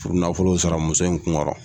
Puru nafolo in sara muso in kun kɔrɔ.